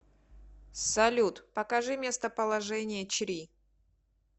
салют покажи местоположение чри